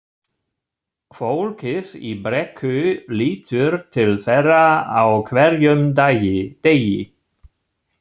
Fólkið í Brekku lítur til þeirra á hverjum degi.